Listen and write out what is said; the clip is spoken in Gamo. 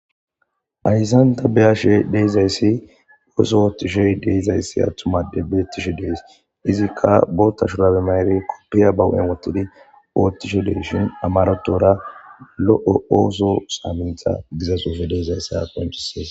Ayzanta beyashe deyizayssi ooso oottishey deizayssi attumade beettishe dees izikka bootta shurabe mayre koppiya bawu'en wottidi oottisho dey shin amarotora lo'o ooso saamintha giza soofe deezayssa penchisees.